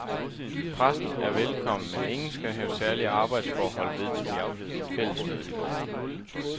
Pressen er velkommen, men ingen skal have særlige arbejdsforhold, vedtog fællesmødet i går.